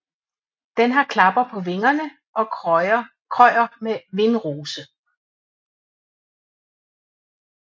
Den har klapper på vingerne og krøjer med vindrose